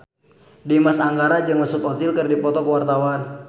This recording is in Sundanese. Dimas Anggara jeung Mesut Ozil keur dipoto ku wartawan